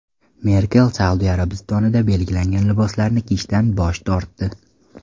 Merkel Saudiya Arabistonida belgilangan liboslarni kiyishdan bosh tortdi.